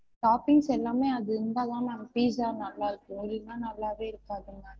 Toppings எல்லாமே அது இருந்தா தான் ma'am pizza நல்லா இருக்கும் இல்லனா நல்லாவே இருக்காது ma'am